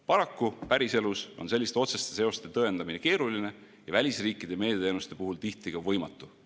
Paraku päriselus on selliste otseste seoste tõendamine keeruline ja välisriikide meediateenuste puhul tihti võimatu.